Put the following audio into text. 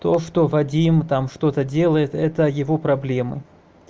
то что вадим там что-то делает это его проблемы